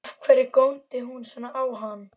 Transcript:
Af hverju góndi hún svona á hann?